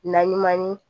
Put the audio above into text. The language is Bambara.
Naɲuman ni